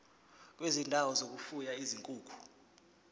kwezindawo zokufuya izinkukhu